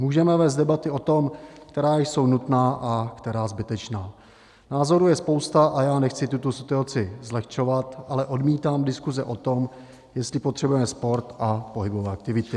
Můžeme vést debaty o tom, která jsou nutná a která zbytečná, názorů je spousta, a já nechci tuto situaci zlehčovat, ale odmítám diskuze o tom, jestli potřebujeme sport a pohybové aktivity.